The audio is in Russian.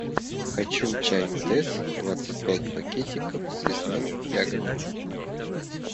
хочу чай тесс двадцать пять пакетиков с лесными ягодами